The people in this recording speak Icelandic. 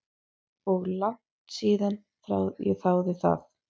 Og langt síðan ég þáði það.